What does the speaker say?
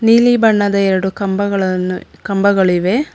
ನೀಲಿ ಬಣ್ಣದ ಎರಡು ಕಂಬಗಳನ್ನು ಕಂಬಗಳಿವೆ.